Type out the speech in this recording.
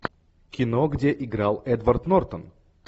кино где играл эдвард нортон